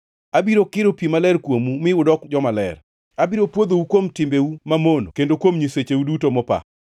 Abiro kiro pi maler kuomu mi udok jomaler; abiro pwodhou kuom timbeu mamono kendo kuom nyisecheu duto mopa.